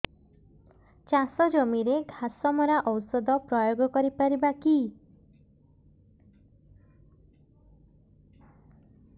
ଚାଷ ଜମିରେ ଘାସ ମରା ଔଷଧ ପ୍ରୟୋଗ କରି ପାରିବା କି